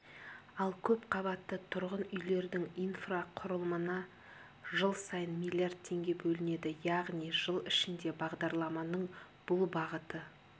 ал көпқабатты тұрғын үйлердің инфрақұрылымына жыл сайын миллиард теңге бөлінеді яғни жыл ішінде бағдарламаның бұл бағыты